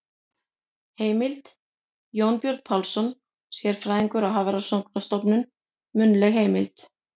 Heimild: Jónbjörn Pálsson, sérfræðingur á Hafrannsóknarstofnun- munnleg heimild.